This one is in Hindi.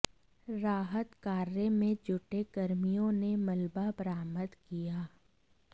राहत कार्य में जुटे कर्मियों ने मलबा बरामद किया